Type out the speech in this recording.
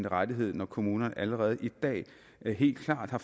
rettigheder når kommunerne allerede i dag helt klart har